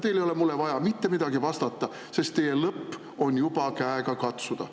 Teil ei ole mulle vaja mitte midagi vastata, sest teie lõpp on juba käega katsuda.